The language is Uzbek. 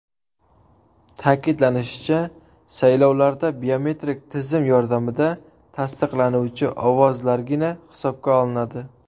Ta’kidlanishicha, saylovlarda biometrik tizim yordamida tasdiqlanuvchi ovozlargina hisobga olinadi.